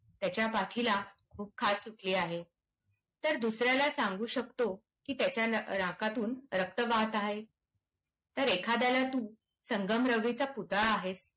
त्याच्या पाठीला खूप खाज सुटली आहे, तर दुसऱ्याला सांगू शकतो की त्याच्या नाकातून रक्त वाहात आहे. तर एखाद्याला तू संगमरवरीचा पुतळा आहेस.